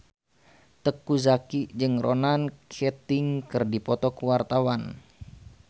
Teuku Zacky jeung Ronan Keating keur dipoto ku wartawan